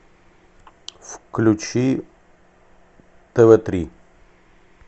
включи тв три